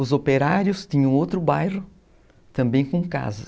Os operários tinham outro bairro também com casas.